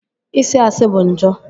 Isi asị bụ njọ